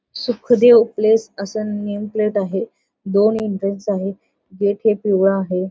Sukhdev place असं name plate आहे दोन एंट्रेन्स आहे गेट हे पिवळ आहे.